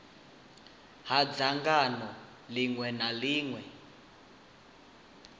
ha dzangano ḽiṅwe na ḽiṅwe